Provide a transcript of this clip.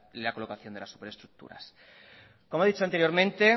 la colocación de las superestructuras como he dicho anteriormente